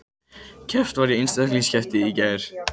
Keppt var í einstaklingskeppni í gær